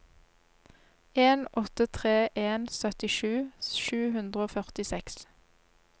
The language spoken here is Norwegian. en åtte tre en syttisju sju hundre og førtiseks